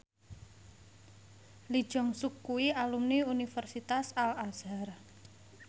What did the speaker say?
Lee Jeong Suk kuwi alumni Universitas Al Azhar